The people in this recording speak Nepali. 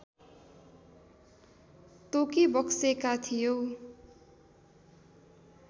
तोकिबक्सेका थियौँ